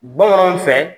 Bamananw fɛ